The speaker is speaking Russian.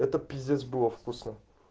это пиздец было вкусно